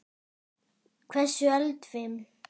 Hversu eldfim?